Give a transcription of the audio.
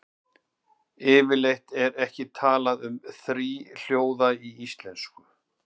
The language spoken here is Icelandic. Yfirleitt er ekki talað um þríhljóða í íslensku.